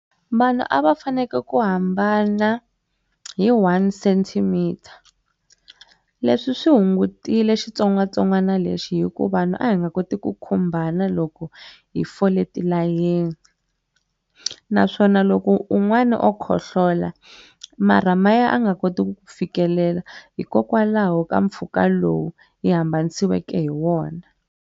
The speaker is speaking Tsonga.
Vanhu a va faneke ku hambana hi one-centimeter leswi swi hungutile xitsongwatsongwana lexi hi ku vanhu a hi nga koti ku khumbana loko hi fole tilayeni naswona loko un'wana o khohlola marha maye a nga koti ku ku fikelela hikokwalaho ka mpfhuka lowu hi hambanisiweke hi wona.